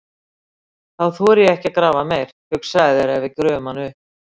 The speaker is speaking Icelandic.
Þá þori ég ekki að grafa meir, hugsaðu þér ef við gröfum hann upp!